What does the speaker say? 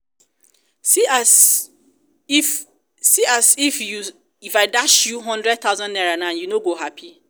see as if see as if if i dash you hundred thousand naira now you no go happy